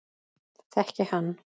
Þekki hann.